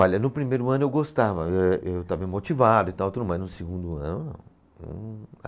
Olha, no primeiro ano eu gostava, eh eu estava motivado e tal, mas no segundo ano não.